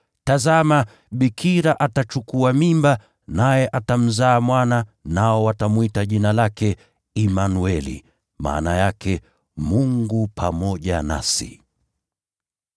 “Tazama, bikira atachukua mimba, naye atamzaa mwana, nao watamwita Jina lake Imanueli”: maana yake, “Mungu pamoja nasi.”